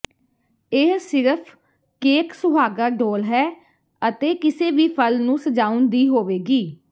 ਇਹ ਸਿਰਫ ਕੇਕ ਸੁਹਾਗਾ ਡੋਲ੍ਹ ਹੈ ਅਤੇ ਕਿਸੇ ਵੀ ਫਲ ਨੂੰ ਸਜਾਉਣ ਦੀ ਹੋਵੇਗੀ